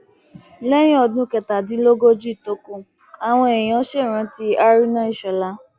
lẹyìn ọdún kẹtàdínlógójì tó kù àwọn èèyàn ṣèrántí haruna ishólà